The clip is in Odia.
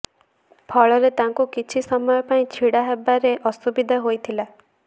ଫଳରେ ତାଙ୍କୁ କିଛି ସମୟ ପାଇଁ ଛିଡା ହେବାରେ ଅସୁବିଧା ହୋଇଥିଲା